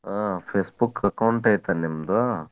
ಹಾ Facebook account ಐತಲ್ ನಿಮ್ದು?